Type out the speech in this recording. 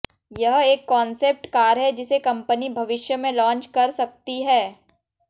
यह एक concept car है जिसे कंपनी भविष्य में लॉन्च कर सकती है